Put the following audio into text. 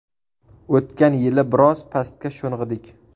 O‘tgan yili biroz pastga sho‘ng‘idik.